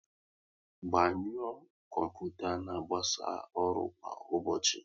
Gbanyuo kọmputa n'agbasa ọrụ kwa ụbọchị